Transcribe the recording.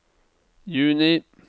juni